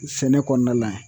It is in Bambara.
Sɛnɛ kɔɔna la